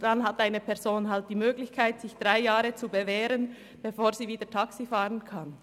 Dann hat eine Person eben die Möglichkeit, sich während drei Jahren zu bewähren, bevor sie wieder Taxi fahren kann.